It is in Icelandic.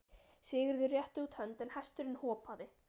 Sigurður rétti út hönd en hesturinn hopaði.